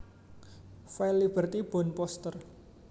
File Liberty bound poster